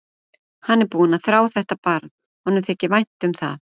Hann er búinn að þrá þetta barn, honum þykir vænt um það.